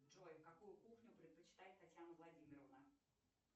джой какую кухню предпочитает татьяна владимировна